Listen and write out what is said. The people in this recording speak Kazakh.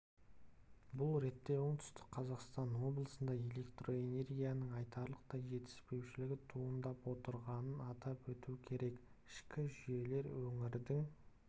бұл ретте оңтүстік қазақстан облысында электроэнергияның айтарлықтай жетіспеушілігі туындап отырғанын атап өту керек ішкі жүйелер өңірдің